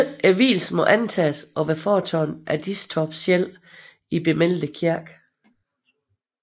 Vielsen må antages at være foretaget af Tisdorph selv i bemeldte kirke